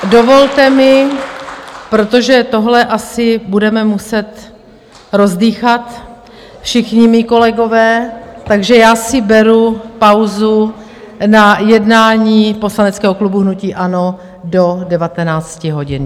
Dovolte mi, protože tohle asi budeme muset rozdýchat, všichni mí kolegové, takže já si beru pauzu na jednání poslaneckého klubu hnutí ANO do 19 hodin.